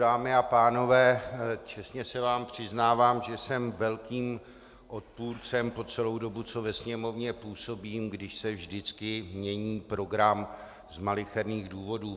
Dámy a pánové, čestně se vám přiznávám, že jsem velkým odpůrcem po celou dobu, co ve Sněmovně působím, když se vždycky mění program z malicherných důvodů.